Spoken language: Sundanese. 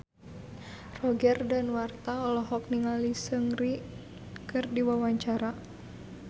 Roger Danuarta olohok ningali Seungri keur diwawancara